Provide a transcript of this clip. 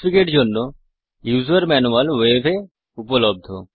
Xfig এর জন্য user manual web এ উপলব্ধ